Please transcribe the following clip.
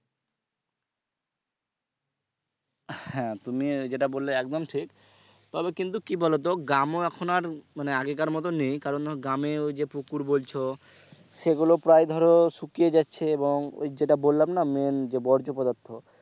তুমি যেটা বলে একদম ঠিক তবে কিন্তু কি বলতো গ্রামও এখন আর মানে আগের মতো নেই কারণ গ্রামে ওই যে পুকুর বলছো এগুলো ধরো প্রায় শুকিয়ে যাচ্ছে এবং ওই যেটা বললাম না main যে বর্জ্য পদার্থ,